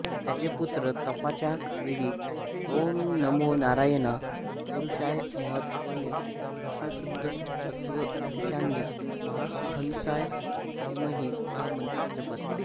त्याचे पुत्र तपाच्या वेळी ॐ नमो नारायणाय पुरुषाय महात्मने विशुद्धसत्त्वधीष्णाय महाहंसाय धीमही हा मंत्र जपत